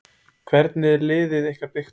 Hvernig er liðið ykkar byggt upp?